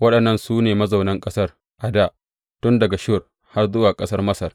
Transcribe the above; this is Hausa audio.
Waɗannan su ne mazaunan ƙasar a dā, tun daga Shur har zuwa ƙasar Masar.